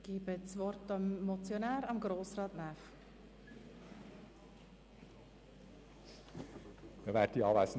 Ich gebe dem Motionär, Grossrat Näf, nochmals das Wort.